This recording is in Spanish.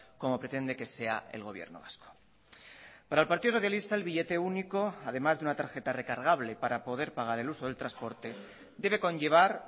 como pretende que sea el gobierno vasco para el partido socialista el billete único además de una tarjeta recargable para poder pagar el uso del transporte debe conllevar